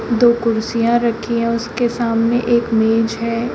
दो कुर्सियां रखी है उसके सामने एक मेज है।